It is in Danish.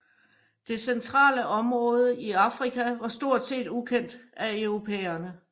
Det centrale område i Afrika var stort set ukendt af europæerne